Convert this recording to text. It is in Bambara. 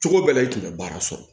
Cogo bɛɛ la i tun bɛ baara sɔrɔ